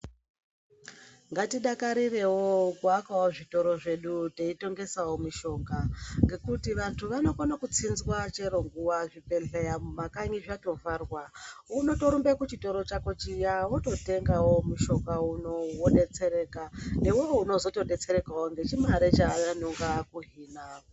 Ngatidakarirewo kuakawo zvitoro zvedu teitengesawo mushonga ngekuti vantu vanokone kutsinzwa chero nguwa zvibhedhlera mumakanyi zvatovharwa, unotorumbe kuchitoro chako chiya wototengawo mushonga unowu wodetsereka newewo unozotodetserekawo ngechimare chaanonga akuhina.